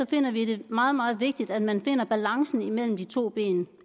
finder vi det meget meget vigtigt at man finder balancen mellem de to ben